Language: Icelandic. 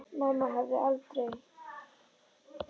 Mamma hefði aldrei.